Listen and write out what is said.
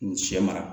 N sɛ mara